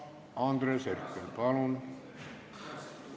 Andres Herkel, palun!